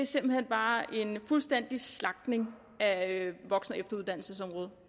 simpelt hen bare er en fuldstændig slagtning af voksen og efteruddannelsesområdet